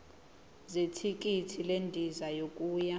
zethikithi lendiza yokuya